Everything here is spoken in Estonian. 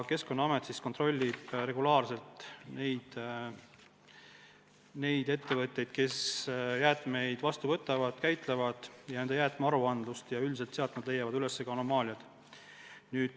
Keskkonnaamet kontrollib regulaarselt neid ettevõtteid, kes jäätmeid vastu võtavad ja käitlevad, kontrollib nende aruandeid ja üldiselt nad leiavad anomaaliad üles.